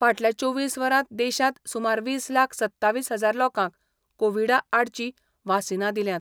फाटल्या चोवीस वरांत देशांत सुमार वीस लाख सत्तावीस हजार लोकांक कोविडा आडची वासिनां दिल्यात.